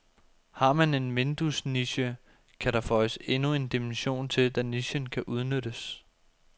Har man en vinduesniche, kan der føjes endnu en dimension til, da nichen kan udnyttes.